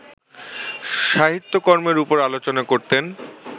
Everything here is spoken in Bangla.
সাহিত্যকর্মের ওপর আলোচনা করতেন